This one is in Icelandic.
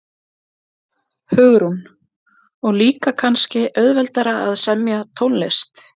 Hugrún: Og líka kannski auðveldara að semja tónlist?